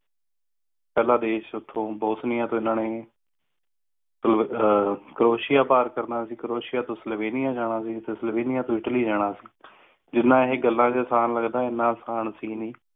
ਪਹਿਲਾ ਦੇਸ਼ ਇਥੋਂ ਬੋਸਨੀਆ ਤੋਂ ਇਨ੍ਹਾਂ ਨੇ ਅਹ ਕ੍ਰੋਏਸ਼ਿਆ ਪਾਰ ਕਰਨਾ ਸੀ, ਕ੍ਰੋਏਸ਼ਿਆ ਤੋਂ ਸਲੋਵੇਨਿਆ ਜਾਣਾ ਸੀ ਤੇ ਸਲੇਵਿਨਿਯਾ ਤੋਂ ਇਟਲੀ ਜਾਣਾ ਸੀ ਜਿਨ੍ਹਾਂ ਇਹ ਗੱਲਾਂ ਚ ਆਸਾਨ ਲੱਗਦਾ ਇਨਾ ਅਸਾਨ ਸੀ ਨਹੀਂ